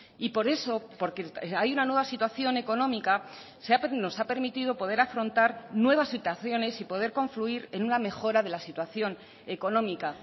y por eso porque hay una nueva situación económica nos ha permitido poder afrontar nuevas situaciones y poder confluir en una mejora de la situación económica